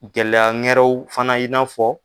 Gɛlɛya wɛrɛw fana i n'a fɔ